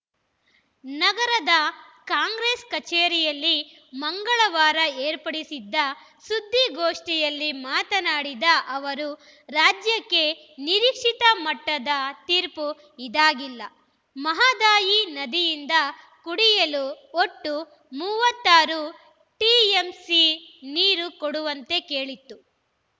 ನಗರದ ಕಾಂಗ್ರೆಸ್‌ ಕಚೇರಿಯಲ್ಲಿ ಮಂಗಳವಾರ ಏರ್ಪಡಿಸಿದ್ದ ಸುದ್ದಿಗೋಷ್ಠಿಯಲ್ಲಿ ಮಾತನಾಡಿದ ಅವರು ರಾಜ್ಯಕ್ಕೆ ನಿರೀಕ್ಷಿತ ಮಟ್ಟದ ತೀರ್ಪು ಇದಾಗಿಲ್ಲ ಮಹದಾಯಿ ನದಿಯಿಂದ ಕುಡಿಯಲು ಒಟ್ಟು ಮೂವತ್ತ್ ಆರು ಟಿಎಂಸಿ ನೀರು ಕೊಡುವಂತೆ ಕೇಳಿತ್ತು